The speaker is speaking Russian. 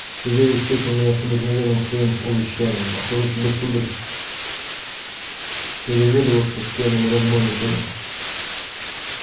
савельич встретил меня с обыкновенным своим увещанием охота тебе сударь переведываться с пьяными разбойниками